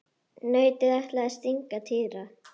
Nautið ætlaði að stanga Týra.